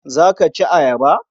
Za ka ci ayaba?